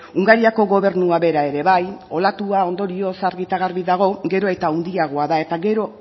hungariako gobernua bera ere bai olatua ondorioz argi eta garbi dago gero eta handiagoa da eta gero